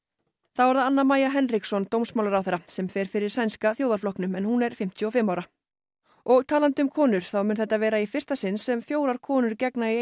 þá er það Anna Maja dómsmálaráðherra sem fer fyrir Sænska þjóðarflokknum en hún er fimmtíu og fimm ára og talandi um konur þá mun þetta vera í fyrsta sinn sem fjórar konur gegna í